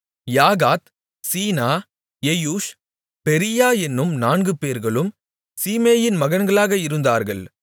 யாகாத் சீனா எயூஷ் பெரீயா என்னும் நான்குபேர்களும் சீமேயின் மகன்களாக இருந்தார்கள்